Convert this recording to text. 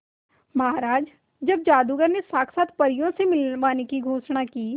महाराज जब जादूगर ने साक्षात परियों से मिलवाने की घोषणा की